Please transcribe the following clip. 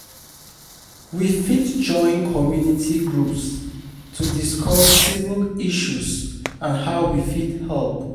We fit join community groups to discuss civic issues and how we fit help.